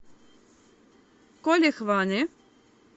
коле хване